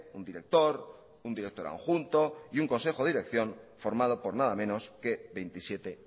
un director un director adjunto y un consejo de dirección formado por nada menos que veintisiete